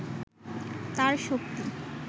তাঁর শক্তি